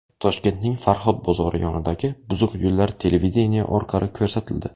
Toshkentning Farhod bozori yonidagi buzuq yo‘llar televideniye orqali ko‘rsatildi .